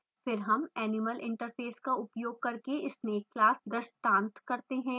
फिर हम animal interface का उपयोग करके snake class दृष्टांत करते हैं